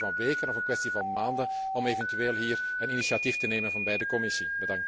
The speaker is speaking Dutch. Is dat een kwestie van weken of een kwestie van maanden om eventueel hier een initiatief te nemen van bij de Commissie.